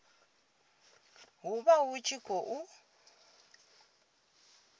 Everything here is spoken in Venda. hu vha hu tshi khou